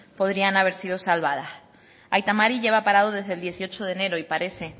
podrían haber sido salvadas aita mari lleva parado desde el dieciocho de enero y parece